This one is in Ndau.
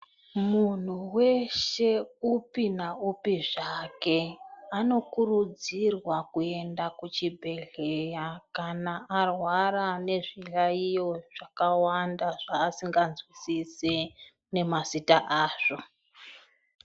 Munhu weshe upi naupi zvake anokurudzirwa kuenda kuchibhedhleya kana arwara nezviyaiyo zvakawanda zvaasingazwisisi nemazita azvo.